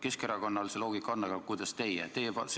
Keskerakonna loogika on arusaadav, aga kuidas teie seda seletate?